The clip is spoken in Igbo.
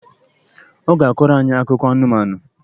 Ọ ga-akọrọ anyị akụkọ anụmanụ.